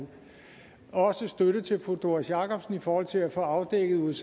også støtte til fru doris jakobsen i forhold til at få afdækket